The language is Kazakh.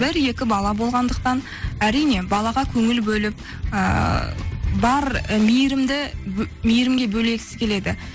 бір екі бала болғандықтан әрине балаға көңіл бөліп ыыы бар мейірімге бөлегісі келеді